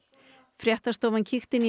fréttastofa kíkti inn í